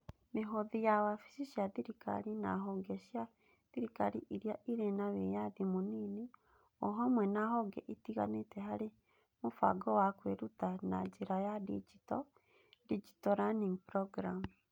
Mĩhothi ya wabici cia thirikari na honge cia thirikari iria ĩrĩ na wĩyathi mũnini o hamwe na honge itiganĩte harĩ mũbango wa kwĩruta na njĩra ya digito (Digital Learning Programme).